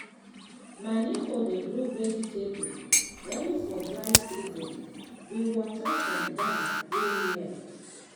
my neighbour dey grow vegetable only for dry season with water from dam wey near.